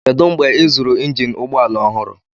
Kedu mgbe ịzụrụ injin ụgbọ ala ọhụrụ?